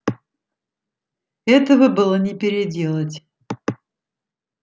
этого было не переделать